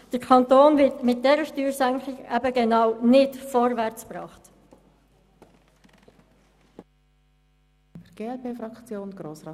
Der Kanton wird mit dieser Steuersenkung eben genau nicht vorwärtsgebracht.